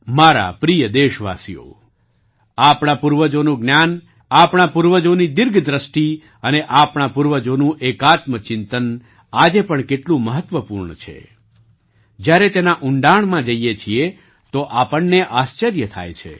મારા પ્રિય દેશવાસીઓ આપણા પૂર્વજોનું જ્ઞાન આપણા પૂર્વજોની દીર્ઘ દૃષ્ટિ અને આપણા પૂર્વજોનું એકાત્મ ચિંતન આજે પણ કેટલું મહત્ત્વપૂર્ણ છે જ્યારે તેના ઊંડાણમાં જઈએ છીએ તો આપણને આશ્ચર્ય થાય છે